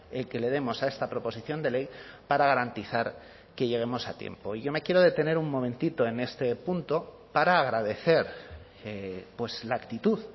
el que le demos a esta proposición de ley para garantizar que lleguemos a tiempo y yo me quiero detener un momentito en este punto para agradecer la actitud